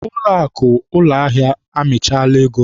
Ụlọakụ ụlọahịa amịchaala ego m.